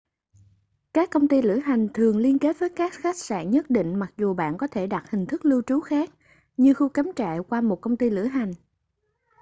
các công ty lữ hành thường liên kết với các khách sạn nhất định mặc dù bạn có thể đặt hình thức lưu trú khác như khu cắm trại qua một công ty lữ hành